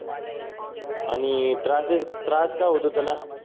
आणि त्रासेस त्रास काय होतो त्याला?